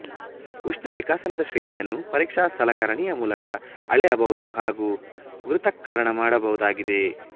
ಉಷ್ಣ ವಿಕಸನದ ಶ್ರೇಣಿಯನ್ನು ಪರೀಕ್ಷ ಸಲಕರಣಿಯ ಮೂಲಕ ಅಳೆಯಬಹುದು ಹಾಗು ಪೃಥಕ್ಕರಣಮಾಡಬಹುದಾಗಿದೆ